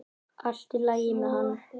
Allt í lagi með hann!